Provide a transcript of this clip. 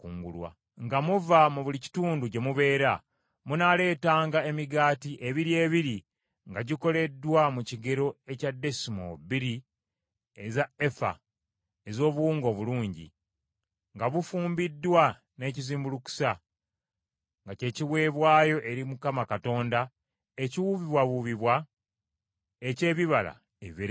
Nga muva mu buli kitundu gye mubeera, munaaleetanga emigaati, ebiri ebiri nga gikoleddwa mu kigero ekya desimoolo bbiri eza efa ez’obuwunga obulungi, nga bufumbiddwa n’ekizimbulukusa; nga kye kiweebwayo eri Mukama Katonda ekiwuubibwawuubibwa eky’ebibala ebibereberye.